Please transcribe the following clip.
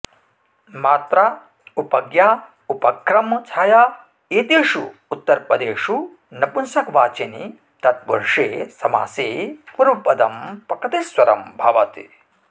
मात्रा उपज्ञा उपक्रम छाया एतेषु उत्तरपदेषु नपुंसकवाचिनि तत्पुरुषे समासे पूर्वपदं प्रकृतिस्वरं भवति